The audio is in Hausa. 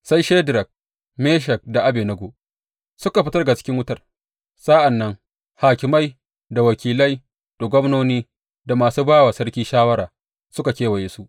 Sai Shadrak, Meshak da Abednego suka fita daga cikin wutar, Sa’an nan hakimai, da wakilai, da gwamnoni da masu ba wa sarki shawara suka kewaya su.